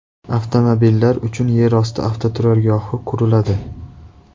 Avtomobillar uchun yerosti avtoturargohi quriladi.